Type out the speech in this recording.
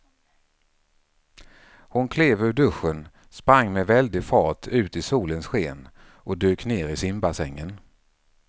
Hon klev ur duschen, sprang med väldig fart ut i solens sken och dök ner i simbassängen.